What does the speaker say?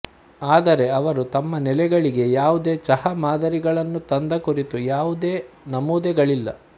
ಆದರೆ ಅವರು ತಮ್ಮ ನೆಲೆಗಳಿಗೆ ಯಾವುದೇ ಚಹಾ ಮಾದರಿಗಳನ್ನು ತಂದ ಕುರಿತು ಯಾವುದೇ ನಮೂದುಗಳಿಲ್ಲ